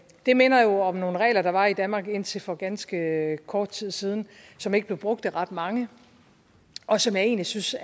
det minder jo om nogle regler der var i danmark indtil for ganske kort tid siden som ikke blev brugt af ret mange og som jeg egentlig synes